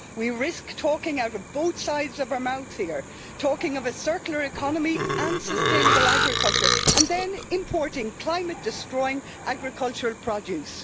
We risk talking out of both sides of our mouth here, talking of a circular economy and sustainable agriculture and then importing climate destroying agricultural produce.